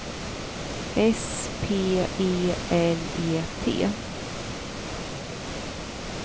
S P E L E T